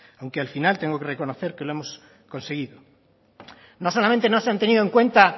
aunque al final tengo que reconocer que lo hemos conseguido no solamente no se han tenido en cuenta